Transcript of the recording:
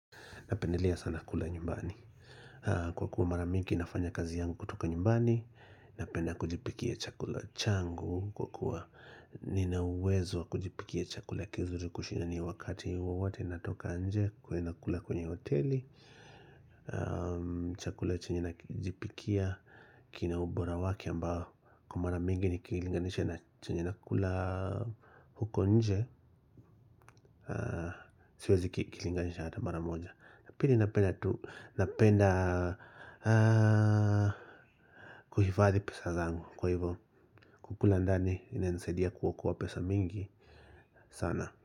Napendelea sana kula nyumbani. Kwa kuwa mara mingi nafanya kazi yangu kutoka nyumbani. Napenda kujipikia chakula changu. Kwa kuwa nina uwezo wa kujipikia chakula kizuri kushinda wakati wowote natoka nje. Kuweza kula kwenye hoteli. Chakula chenye najipikia kina ubora wake ambao kwa mara mingi nikilinganisha na chenye nakula huko nje. Siwezi kilinganisha hata mara moja ya pili napenda tu. Napenda kuhifadhi pesa zangu. Kukula ndani inanisaidia kuokoa kuwa pesa mingi sana.